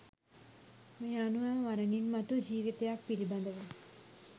මේ අනුව මරණින්මතු ජීවිතයක් පිළිබඳව